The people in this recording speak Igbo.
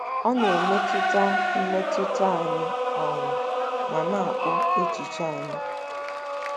Ọ na-emetụta mmetụta anyị um ma na-akpụ echiche anyị.